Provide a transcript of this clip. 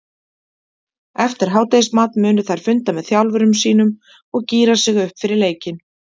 Eftir hádegismat munu þær funda með þjálfurum sínum og gíra sig upp fyrir leikinn.